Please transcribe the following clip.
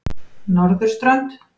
Norðurströnd